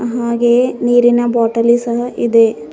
ಹಾಗೆಯೇ ನೀರಿನ ಬಾಟಲಿ ಸಹ ಇದೆ.